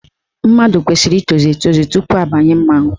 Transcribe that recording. Mmadụ kwesiri ịtozu etozu tupu abanye mmanwụ.